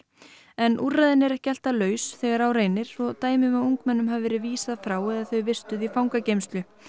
en úrræðin eru ekki alltaf laus þegar á reynir og dæmi um að ungmennum hafi verið vísað frá eða þau vistuð í fangageymslu